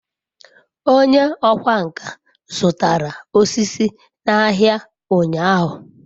onye okwá nkà zutara osisi n'ahia unyahu